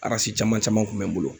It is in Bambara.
caman caman kun be n bolo.